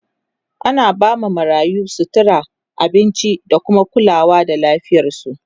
ana ba ma marayu, sutura, abinci da kuma kulawa da lafiyarsu